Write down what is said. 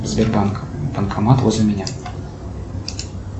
сбербанк банкомат возле меня